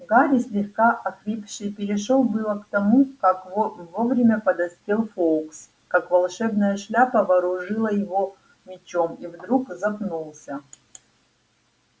гарри слегка охрипший перешёл было к тому как вовремя подоспел фоукс как волшебная шляпа вооружила его мечом и вдруг запнулся